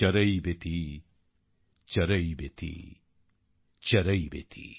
চরৈবতি চরৈবতি চরৈবতি